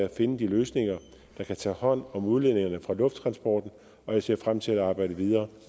at finde de løsninger der kan tage hånd om udledningerne fra lufttransporten og jeg ser frem til at arbejde videre